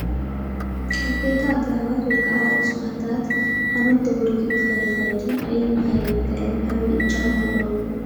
ዓበይቲ አግራባት ወይ ከዓ እፅዋታት ሓመድ ተጎርጊሩ ንኸይኸይድን ኣየር ንኸይብከልን ዓብዪ እጃም ኣለዎም፡፡